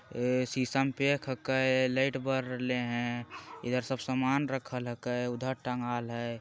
ए शीशा में पैक हैके लाइट बड़ रहले है इधर सब सामान रखल हैके उधर टांगल हई।